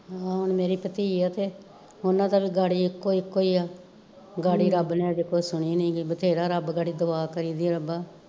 ਮੇਰੀ ਭਤੀਅ ਆ ਤੇ ਓਨਾ ਦਾ ਵੀ ਗਾਡੀ ਇੱਕੋ ਇੱਕੋ ਆ, ਗਾਡੀ ਰੱਬ ਨੇ ਅਜੇ ਕੋਈ ਸੁਣੀ ਨੀ ਗੀ ਬਥੇਰਾ ਰੱਬ ਗਡੀ ਦੁਆ ਕਰੀਦੀ ਆ ਰੱਬਾ